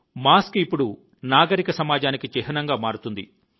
mask ఇప్పుడు నాగరిక సమాజానికి చిహ్నంగా మారుతుంది